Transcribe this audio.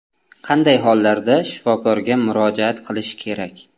Qanday hollarda shifokorga murojaat qilish kerak?